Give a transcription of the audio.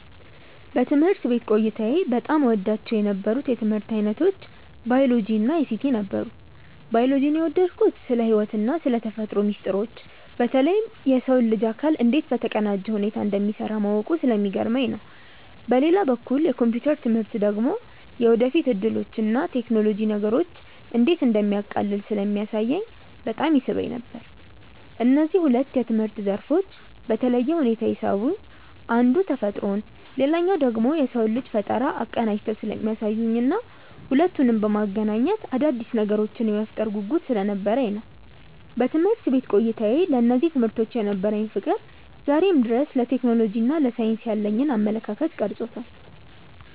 በትምህርት ቤት ቆይታዬ በጣም እወዳቸው የነበሩት የትምህርት ዓይነቶች ባዮሎጂ እና አይሲቲ ነበሩ። ባዮሎጂን የወደድኩት ስለ ሕይወትና ስለ ተፈጥሮ ሚስጥሮች በተለይም የሰው ልጅ አካል እንዴት በተቀናጀ ሁኔታ እንደሚሠራ ማወቁ ስለሚገርመኝ ነው። በሌላ በኩል የኮምፒውተር ትምህርት ደግሞ የወደፊት ዕድሎችንና ቴክኖሎጂ ነገሮችን እንዴት እንደሚያቃልል ስለሚያሳየኝ በጣም ይስበኝ ነበር። እነዚህ ሁለት የትምህርት ዘርፎች በተለየ ሁኔታ የሳቡኝ አንዱ ተፈጥሮን ሌላኛው ደግሞ የሰውን ልጅ ፈጠራ አቀናጅተው ስለሚያሳዩኝና ሁለቱንም በማገናኘት አዳዲስ ነገሮችን የመፍጠር ጉጉት ስለነበረኝ ነው። በትምህርት ቤት ቆይታዬ ለእነዚህ ትምህርቶች የነበረኝ ፍቅር ዛሬም ድረስ ለቴክኖሎጂና ለሳይንስ ያለኝን አመለካከት ቀርጾታል።